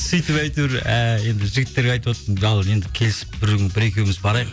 сөйтіп әйтеуір енді жігіттерге айтыватырмын енді келісіп бір күн бір екеуіміз барайық